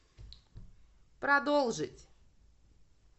продолжить